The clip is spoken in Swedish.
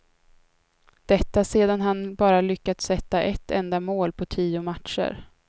Detta sedan han bara lyckats sätta ett enda mål på tio matcher.